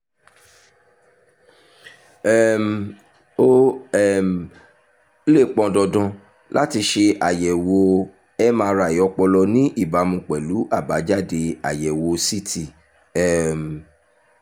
um ó um lè pọn dandan láti ṣe àyẹ̀wò mri ọpọlọ ní ìbámu pẹ̀lú àbájáde àyẹ̀wò ct um